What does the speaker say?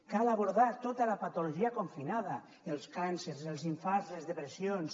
cal abordar tota la patologia confinada els càncers els infarts les depressions